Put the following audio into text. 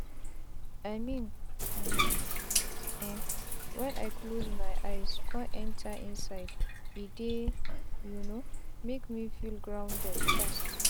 i mean um eh wen i close my eyes con breathe enta inside e dey um make me feel grounded fast.